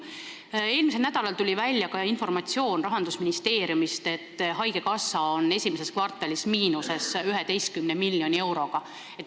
Eelmisel nädalal tuli Rahandusministeeriumist ka informatsioon, et haigekassa oli esimeses kvartalis 11 miljoni euroga miinuses.